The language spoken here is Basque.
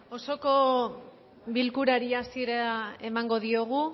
osoko bilkurari hasiera emango diogu